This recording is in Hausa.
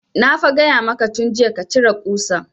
Na fa gaya maka tun jiya ka cire ƙusan